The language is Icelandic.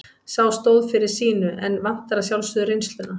Sá stóð fyrir sínu en vantar að sjálfsögðu reynsluna.